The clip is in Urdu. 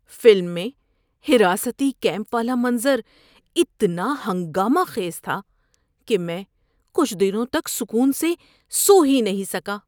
فلم میں حراستی کیمپ والا منظر اتنا ہنگامہ خیز تھا کہ میں کچھ دنوں تک سکون سے سو ہی نہیں سکا۔